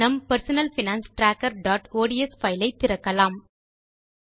நம் personal finance trackerஒட்ஸ் file ஐ திறக்கலாம்